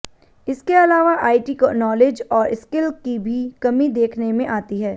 इसके अलावा IT knowledge और स्किल की भी कमी देखने में आती है